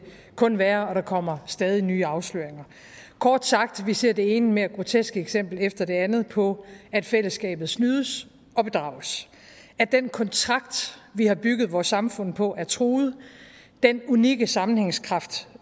værre og der kommer stadig nye afsløringer kort sagt ser vi det ene mere groteske eksempel efter det andet på at fællesskabet snydes og bedrages at den kontrakt vi har bygget vores samfund på er truet den unikke sammenhængskraft